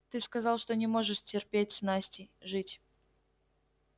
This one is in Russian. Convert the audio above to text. ты сказал что не можешь теперь с настей жить